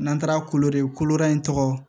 N'an taara kolo de kolobara in tɔgɔ